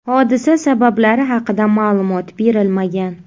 Hodisa sabablari haqida ma’lumot berilmagan.